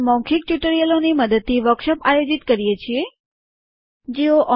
મૌખિક ટ્યુટોરીયલ યોજનાનું જૂથ મૌખિક ટ્યુટોરિયલોની મદદથી વર્કશોપ આયોજિત કરે છે